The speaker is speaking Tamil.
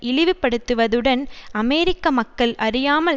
இழிவுபடுத்துவதுடன் அமெரிக்க மக்கள் அறியாமல்